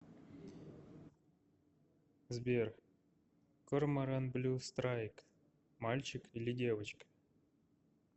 сбер корморан блю страйк мальчик или девочка